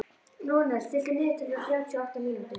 Rúnel, stilltu niðurteljara á þrjátíu og átta mínútur.